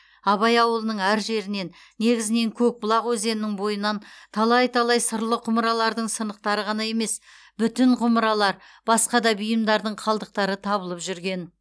абай ауылының әр жерінен негізінен көкбұлақ өзенінің бойынан талай талай сырлы құмыралардың сынықтары ғана емес бүтін құмыралар басқа да бұйымдардың қалдықтары табылып жүрген